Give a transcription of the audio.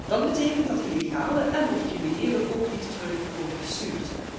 Dat betekent dat illegalen en of criminelen ook niet terug kunnen worden gestuurd.